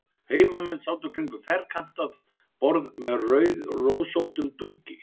Heimamenn sátu kringum ferkantað borð með rauðrósóttum dúki.